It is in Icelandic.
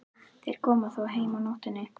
Þeir koma þó heim á nóttunni.